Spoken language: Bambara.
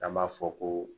An b'a fɔ ko